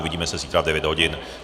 Uvidíme se zítra v 9 hodin.